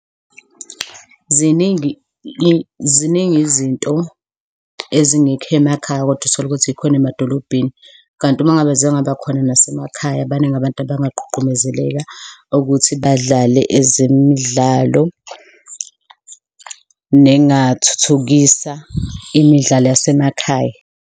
Ziningi ziningi izinto ezingekho emakhaya, kodwa uthole ukuthi zikhona emadolobheni, kanti uma ngabe zingaba khona nasemakhaya, baningi nabantu bangagqugquzeleka ukuthi badlale ezemidlalo, nengathuthukisa imidlalo yasemakhaya.